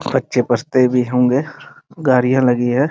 कच्चे-पस्ते भी होंगे गाड़ियाँ लगी हैं ।